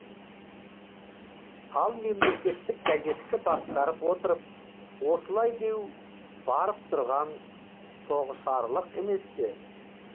ал мемлекеттік газетті басқарып отырып осылай деу барып тұрған тоғышарлық емес пе